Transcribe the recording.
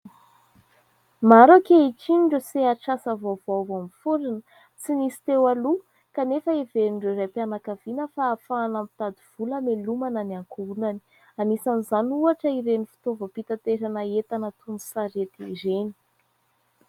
Maro ankehitriny ireo sehatr'asa vaovao vao niforina tsy nisy teo aloha kanefa heverin'ireo raim-pianakaviana fa ahafahana mitady vola hamelomana ny ankohonany, anisan'izany ohatra ireny fitaovam-pitaterana entana toy ny sarety ireny.